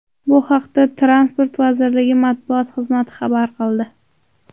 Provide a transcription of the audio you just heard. Bu haqda Transport vazirligi matbuot xizmati xabar qildi .